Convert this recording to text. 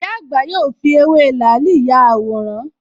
Ìyá àgbà yóò fi ewé làálì ya àwòrán